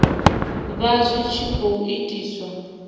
vha zwi tshi khou itiswa